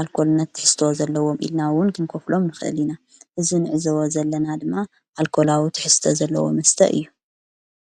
ኣልኮልነት ትሕስተወ ዘለዎም ኢልናውን ክንኰፍሎም ንኽእሊኢና እዝ ንዕዝወ ዘለና ድማ ኣልኮላዊ ትሕስተ ዘለዎ መስተ እዩ።